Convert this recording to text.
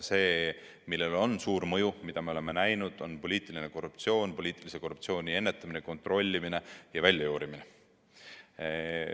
See, millel on suur mõju, me oleme näinud, on poliitiline korruptsioon – poliitilise korruptsiooni ennetamine, kontrollimine ja väljajuurimine.